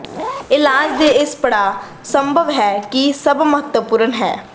ਇਲਾਜ ਦੇ ਇਸ ਪੜਾਅ ਸੰਭਵ ਹੈ ਕਿ ਸਭ ਮਹੱਤਵਪੂਰਨ ਹੈ